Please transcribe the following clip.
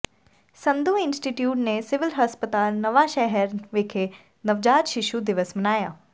Sandhu institute ਨੇ civil ਹਸਪਤਾਲ ਨਵਾਂਸ਼ਹਿਰ ਵਿਖੇ ਨਵਜਾਤ ਸ਼ਿਸ਼ੂ ਦਿਵਸ ਮਨਾਇਆ